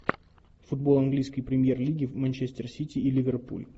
футбол английской премьер лиги манчестер сити и ливерпуль